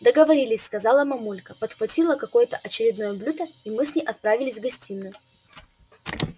договорились сказала мамулька подхватила какое-то очередное блюдо и мы с ней отправились в гостиную